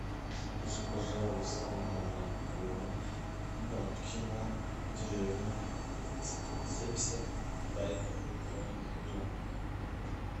закажи пожалуйста молоко бабкина деревня семьдесят пять килограмм